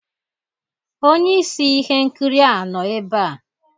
Onye isi ihe nkiri a nọ ebe a